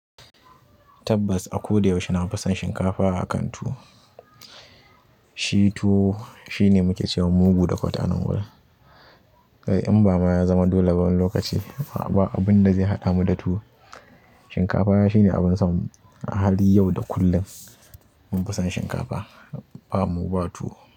Tabbas, a ko da yaushe na fi son shinkafa a kan tuwo. Shi tuwo shine muke cewa mugu da kwatanan gwal. Kai in ba ma ya zama dole bs wani lokaci ba abin da zai haɗa mu da tuwo. Shinkafa ai shine abin sonmu a hali yau da kullum. Nafi son shinkafa bamu ba tuwo.